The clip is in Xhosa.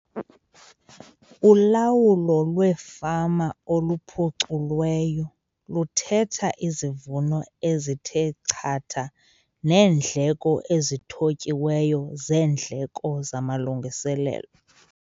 Ulawulo lwefama oluphuculweyo luthetha izivuno ezithe chatha neendleko ezithotyiweyo zeendleko zamalungiselelo.